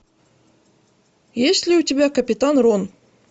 есть ли у тебя капитан рон